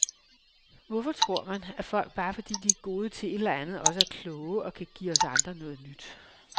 Hvorfor tror man, at folk, bare fordi de er gode til et eller andet, også er kloge og kan give os andre noget nyt.